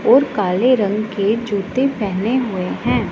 और काले रंग के जूते पहने हुए हैं।